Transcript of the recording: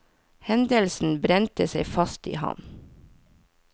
Hendelsen brente seg fast i ham.